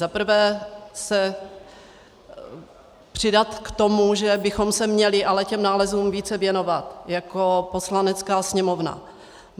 Za prvé se přidat k tomu, že bychom se měli ale těm nálezům více věnovat jako Poslanecká sněmovna.